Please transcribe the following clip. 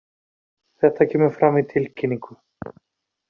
Þetta kemur fram í tilkynningu